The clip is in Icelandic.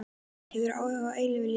Hefur þú áhuga á eilífu lífi?